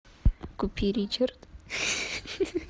купи ричард